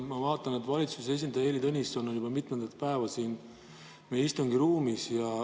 Ma vaatan, et valitsuse esindaja Heili Tõnisson on juba mitmendat päeva siin meie istungiruumis.